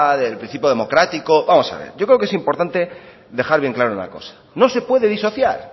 del principio democrático vamos a ver yo creo que es importante dejar claro una cosa no se puede disociar